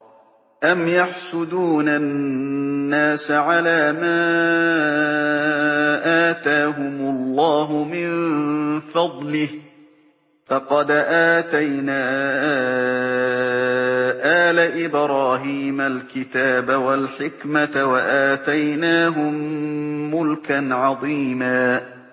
أَمْ يَحْسُدُونَ النَّاسَ عَلَىٰ مَا آتَاهُمُ اللَّهُ مِن فَضْلِهِ ۖ فَقَدْ آتَيْنَا آلَ إِبْرَاهِيمَ الْكِتَابَ وَالْحِكْمَةَ وَآتَيْنَاهُم مُّلْكًا عَظِيمًا